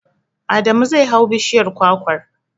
Adamu zai hau bishiyar kwakwar.